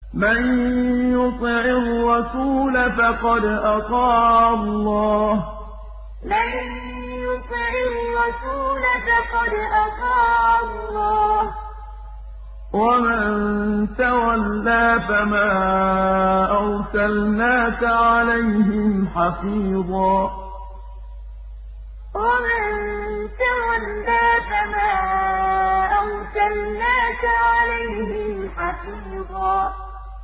مَّن يُطِعِ الرَّسُولَ فَقَدْ أَطَاعَ اللَّهَ ۖ وَمَن تَوَلَّىٰ فَمَا أَرْسَلْنَاكَ عَلَيْهِمْ حَفِيظًا مَّن يُطِعِ الرَّسُولَ فَقَدْ أَطَاعَ اللَّهَ ۖ وَمَن تَوَلَّىٰ فَمَا أَرْسَلْنَاكَ عَلَيْهِمْ حَفِيظًا